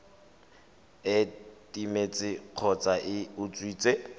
e timetse kgotsa e utswitswe